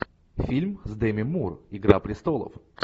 фильм с деми мур игра престолов